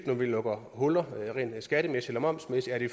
når vi lukker huller skattemæssigt eller momsmæssigt er det